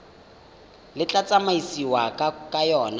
le tla tsamaisiwang ka yona